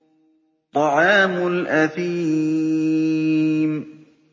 طَعَامُ الْأَثِيمِ